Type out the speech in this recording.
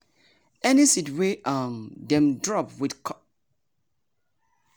we dey sing wen we spread manure for ground so the smell no go pursue us comot qik qik.